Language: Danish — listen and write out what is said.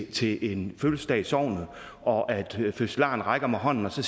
til en fødselsdag i sognet og fødselaren rækker mig hånden skal